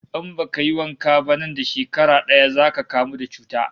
In baka yi wanka ba nan da shekara daya zaka kamu da cuta